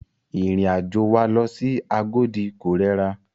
Ìrìn àjò wa lọ sí Agodi ko rẹra.